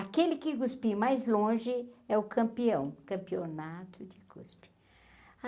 Aquele que cuspir mais longe é o campeão, campeonato de cuspe.